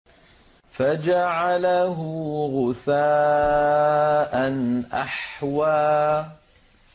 فَجَعَلَهُ غُثَاءً أَحْوَىٰ